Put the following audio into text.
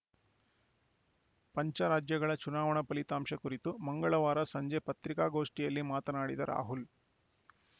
ಪಂಚರಾಜ್ಯಗಳ ಚುನಾವಣಾ ಫಲಿತಾಂಶ ಕುರಿತು ಮಂಗಳವಾರ ಸಂಜೆ ಪತ್ರಿಕಾಗೋಷ್ಠಿಯಲ್ಲಿ ಮಾತನಾಡಿದ ರಾಹುಲ್‌